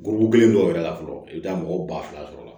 Burukɔn kelen dɔw yɛrɛ la fɔlɔ i bɛ taa mɔgɔ ba fila sɔrɔ o la